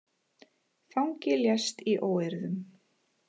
Fangi lést í óeirðum